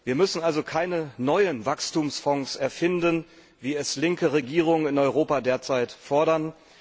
Wir müssen also keine neuen Wachstumsfonds erfinden, wie es linke Regierungen in Europa derzeit fordern.